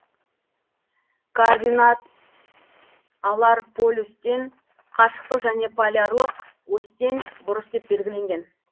координаталар полюстен қашықтық және полярлық осьтен бұрыш деп белгіленген